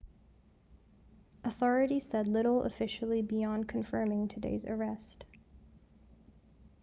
authorities said little officially beyond confirming today's arrest